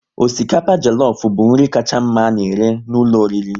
Osikapa jelofu bụ nri kacha mma a na-ere n'ụlọ oriri